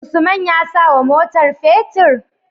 Usman ya sawa motar fetir?